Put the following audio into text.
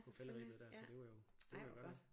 På falderebet der så det var jo det var jo rart